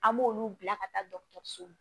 An b'olu bila ka taa dɔgɔtɔrɔso la